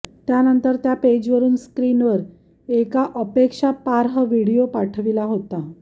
त्यानंतर त्या पेजवरून स्क्रिनवर एका आक्षेपार्ह व्हिडिओ पाठविला होता